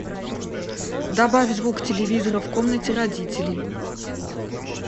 добавь звук телевизора в комнате родителей